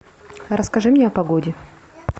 расскажи мне о погоде